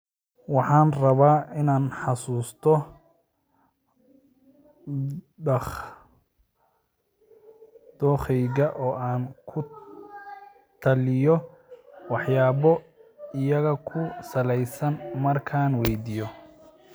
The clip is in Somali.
Waxaan rabaa in aan xasuusto dookheyga oo aan ku taliyo waxyaabo iyaga ku saleysan markaan weydiiyo